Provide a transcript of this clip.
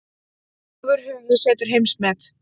Ofurhugi setur heimsmet